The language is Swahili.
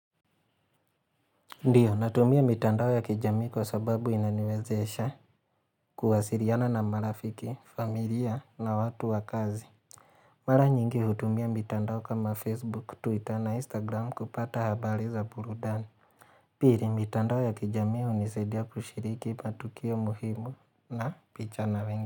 Ndiyo, natumia mitandao ya kijamii kwa sababu inaniwezesha kuwasiriana na marafiki, familia na watu wa kazi. Mara nyingi hutumia mitandao kama Facebook, Twitter na Instagram kupata habari za purudani. Piri, mitandao ya kijamii hunisaidia kushiriki patukio muhimu na picha na wengi.